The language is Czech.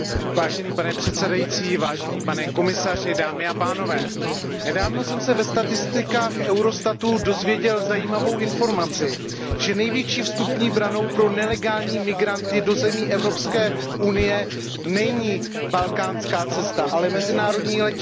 Pane předsedající, pane komisaři, nedávno jsem se ve statistikách Eurostatu dozvěděl zajímavou informaci, že největší vstupní branou pro nelegální migranty do zemí Evropské unie není balkánská cesta, ale mezinárodní letiště.